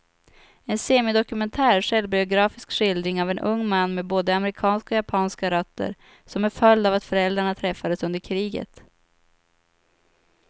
En semidokumentär självbiografisk skildring av en ung man med både amerikanska och japanska rötter, som en följd av att föräldrarna träffades under kriget.